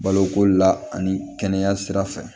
Baloko la ani kɛnɛya sira fɛ